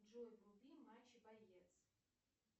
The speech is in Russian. джой вруби матч боец